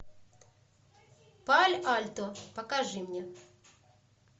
пало альто покажи мне